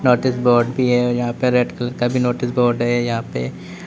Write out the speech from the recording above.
notice board भी है यहां पे रेड कलर का भी नोटिस बोर्ड है यहां पे--